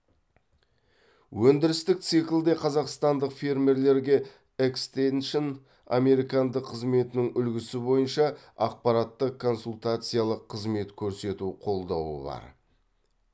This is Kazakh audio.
өндірістік циклде қазақстандық фермерлерге экстеншн американдық қызметінің үлгісі бойынша ақпараттық консультациялық қызмет көрсету қолдауы бар